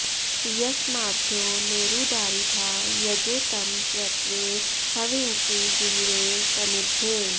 यस्मा॒द्योने॑रु॒दारि॑था॒ यजे॒ तं प्र त्वे ह॒वींषि॑ जुहुरे॒ समि॑द्धे